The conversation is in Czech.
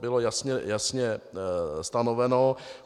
bylo jasně stanoveno.